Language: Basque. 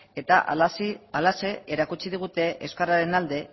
eta halaxe erakutsi digute euskararen alde